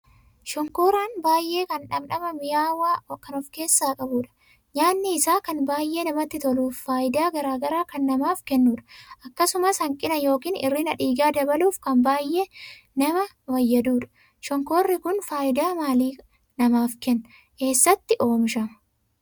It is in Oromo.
Shonkooraan baay'ee kan dhandhama minyaahu kan ofkeessaa qabuudha. Nyaanni isaa kan baay'ee namatti toluuf faayidaa garaagaraa kan namaaf kennuudha. akkasumas hanqina ykn hirrina dhiigaa dabaluuf kan baay'ee nama fayyaduudha. shonkoorri kun faayidaa maalii namaaf Kenna? eessatti oomishama?